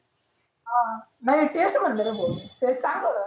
हा नाही तेच म्हटलं रे भो ते चांगल.